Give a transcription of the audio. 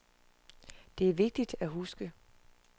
Det er vigtigt at huske.